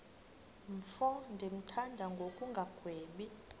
mfo ndimthanda ngokungagwebi